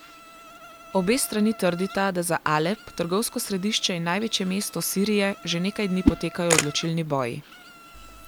Obe strani trdita, da za Alep, trgovsko središče in največje mesto Sirije, že nekaj dni potekajo odločilni boji.